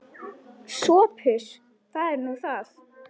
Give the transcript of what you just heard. SOPHUS: Það er nú það.